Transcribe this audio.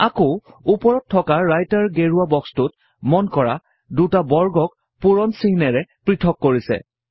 আকৌ উপৰত থকা ৰাইটাৰ গেৰুৱা বক্সটোত মন কৰা দুটা বৰ্গক পূৰণ চিহ্নৰে পৃথক কৰিছে